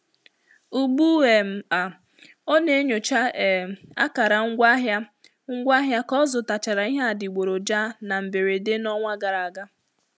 Ugbu um a ọ na-enyocha um akara ngwaahịa ngwaahịa ka ọ zụtachara ihe adịgboroja na mberede n'ọnwa gara aga.